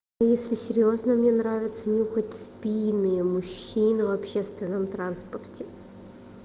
если серьёзно мне нравится нюхать спины мужчин в общественном транспорте